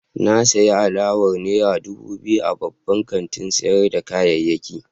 Na sayi alawar naira dubu biyu a babban kantin sayar da kayayyaki.